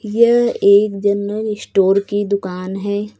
यह एक general store की दुकान है।